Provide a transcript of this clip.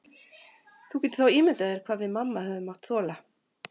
Þú getur þá ímyndað þér hvað við mamma höfum mátt þola.